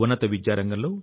దీనిని మరింత పెంచాలి